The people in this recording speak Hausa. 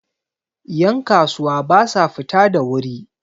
yankasuwa ba sa fita da wuri